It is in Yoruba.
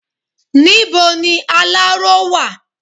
Níbo ni aláró wà?